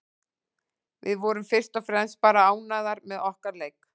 Við vorum fyrst og fremst bara ánægðar með okkar leik.